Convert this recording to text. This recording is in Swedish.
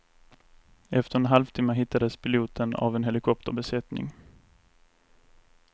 Efter en halvtimme hittades piloten av en helikopterbesättning.